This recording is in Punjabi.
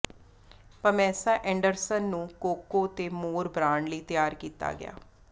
ਪਮੈਸਾ ਐਂਡਰਸਨ ਨੂੰ ਕੋਕੋ ਡੇ ਮੋਰ ਬਰਾਂਡ ਲਈ ਤਿਆਰ ਕੀਤਾ ਗਿਆ